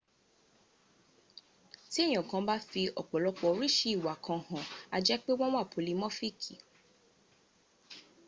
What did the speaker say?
ti eyan kan ba fi opolopo orisi iwa kan han a je pe won wa polimofiki